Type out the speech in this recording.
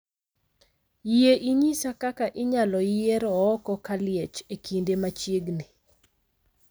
Yie inyisa kaka inyalo yier Ooko Kaliech e kinde machiegni.